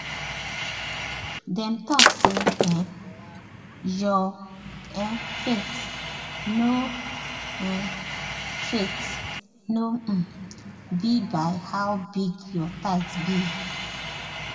dem talk say um your um faith no um faith no um be by how big your tithe be.